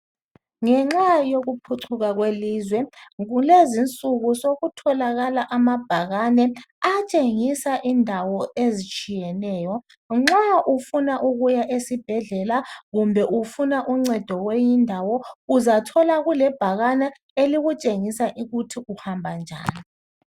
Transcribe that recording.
Ngenxa yokuphucuka kwelizwe kulezinsuku sokutholakala amabhakane atshengisa indawo ezitshiyeneyo. Nxa ufuna ukuya esibhedlela kumbe ufuna uncedo kweyinye indawo uzathola kulebhakane elikutshengisa ukuthi uhamba njani.